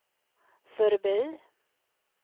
förbi